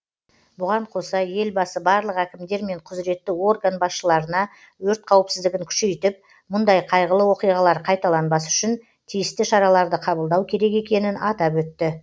бұған қоса елбасы барлық әкімдер мен құзіретті орган басшыларына өрт қауіпсіздігін күшейтіп мұндай қайғылы оқиғалар қайталанбас үшін тиісті шараларды қабылдау керек екенін атап өтті